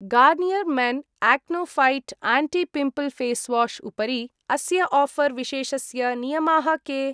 Garnier men acno fight anti pimple face wash उपरि अस्य offer विशेषस्य नियमाः के?